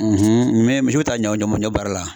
mɛ misiw ta ɲɔ ɲɔ ɲɔ baara la .